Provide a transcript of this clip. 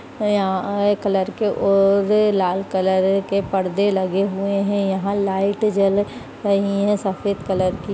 यहाँ यहां अ कलर के और लाल कलर के परदे लगे हुए हैं यहाँ लाइट जल रही हैं सफ़ेद कलर की--